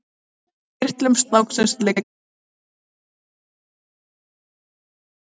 Úr kirtlum snáksins liggur rás til höggtanna sem eru holar að innan.